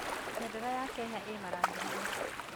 Bendera ya Kenya ĩĩ marangi mana.